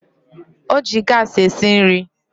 O ji gaasị esi nri